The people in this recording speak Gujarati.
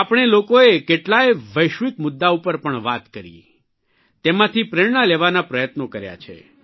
આપણે લોકોએ કેટલાય વૈશ્વિક મુદ્દા ઉપર પણ વાત કરી તેમાંથી પ્રેરણા લેવાના પ્રયત્નો કર્યા છે